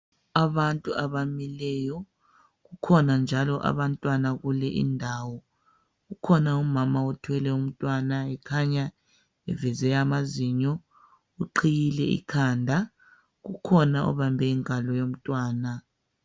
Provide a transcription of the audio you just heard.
Abantu abamileyo kukhona njalo abantwana kule indawo kukhona umama othwele umntwana ekhanya eveze amazinyo uqhiyile ikhanda kukhona obambe ingulo yomntwana